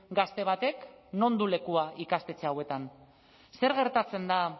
gazte batek non du lekua ikastetxe hauetan zer gertatzen da